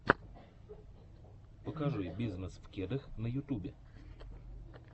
покажи бизнесвкедах на ютюбе